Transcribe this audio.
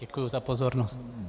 Děkuji za pozornost.